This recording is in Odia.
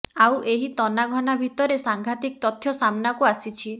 ଆଉ ଏହି ତନାଘନା ଭିତରେ ସାଂଘାତିକ ତଥ୍ୟ ସାମ୍ନାକୁ ଆସିଛି